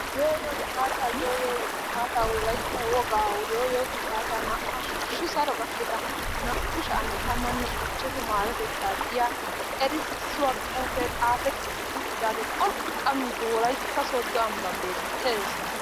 Yoo yoo gifaata yoo yoo gifaata wolaytta wogaa yoo yoo gifaata la hashshu saro gakketa naa''u sha'anne tammane ichchashshu marotetta giya erissuwa xuufe xaafetti uttidaage pholqqamide wolaytta Sooddo ambban beettees.